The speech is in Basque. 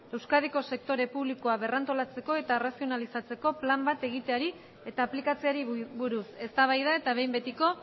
euskadiko sektore publikoa berrantolatzeko eta arrazionalizatzeko plan bat egietari eta aplikatzeari buruz eztabaida eta behin betiko